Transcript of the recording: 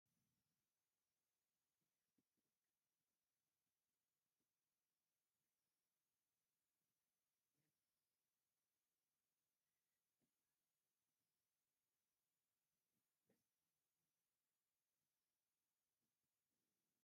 ኣብዚ ኣብ ፕላስቲክ ቅርጺ ዝተሓዙ ብዙሓት ናይ ዕንጨይቲ ዘመናዊ ኩሕልታት ኣለዉ። እዞም መሳርሒታት ብብዙሕ ሕብሪ ይረኣዩ፤ መብዛሕትኦም ቡናዊ፡ እቲ ሓደ ቀይሕ እዩ። ኣብ ስእሊ ዘለው እንታይ ዓይነት ኣቁሕታት እዮም?